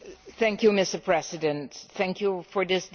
Mr President, thank you for this debate.